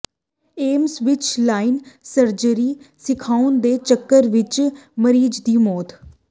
AIIMS ਵਿਚ live surgery ਸਿਖਾਉਣ ਦੇ ਚੱਕਰ ਵਿਚ ਮਰੀਜ ਦੀ ਮੌਤ